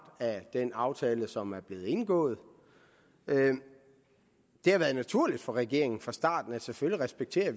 af den aftale som er blevet indgået det har været naturligt for regeringen fra starten at vi selvfølgelig respekterer